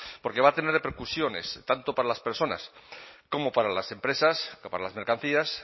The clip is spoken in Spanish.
porque va a tener repercusiones tanto para las personas como para las empresas para las mercancías